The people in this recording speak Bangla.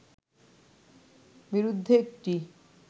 বিরুদ্ধে একটি